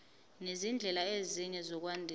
nezindlela ezinye zokwandisa